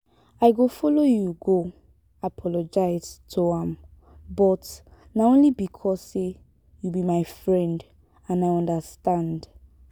i go follow you go apologise to am but na only because say you be my friend and i understand